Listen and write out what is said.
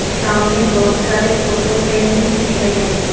सामने बहुत सारे फोटो फ्रेम भी दिख रहे हैं।